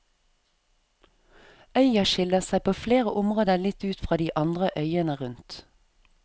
Øya skiller seg på flere områder litt ut fra de andre øyene rundt.